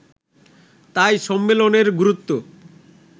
তাই সম্মেলনের গুরুত্ব